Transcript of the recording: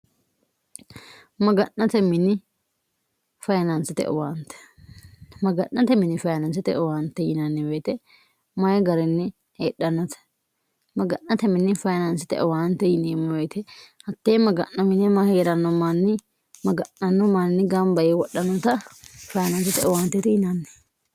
maga'nate mini fayinaansite owaante yinannibeete mayi garinni heedhannote maga'nate minni fayinaansite owaante yiniimmoyite hattee maga'no mine mahie'ranno manni maga'nanno manni gambae wodhannota fayinaansite owaantete yinanni